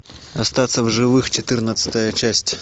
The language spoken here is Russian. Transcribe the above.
остаться в живых четырнадцатая часть